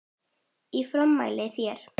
Ég formæli þér